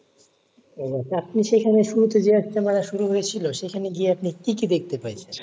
ও আচ্ছা মানে আপনি শুরুতে গিয়েছিলেন? মানে শুরু হয়েছিল। সেখানে গিয়ে আপনি কি কি দেখতে পাই ছিলেন?